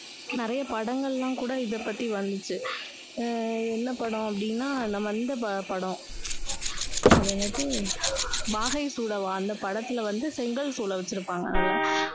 நிறைய படங்கள் எல்லாம் கூட இதைப்பத்தி வந்துச்சு. உம் என்ன படம் அப்படின்னா நம்ம இந்த படம். அது என்னாது, வாகை சூட வா. அந்த படத்துல வந்து செங்கல் சூளை வச்சுருப்பாங்க அதுல.